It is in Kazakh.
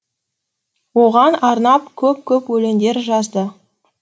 оған арнап көп көп өлеңдер жазды